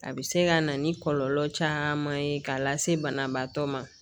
A bɛ se ka na ni kɔlɔlɔ caman ye k'a lase banabaatɔ ma